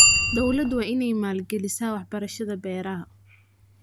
Dawladdu waa inay maalgelisaa waxbarashada beeraha.